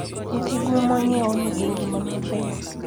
nyithi gwe monyiew nigi ngima maber.